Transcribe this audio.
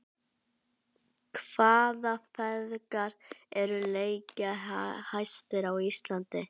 Hvaða feðgar eru leikjahæstir á Íslandi?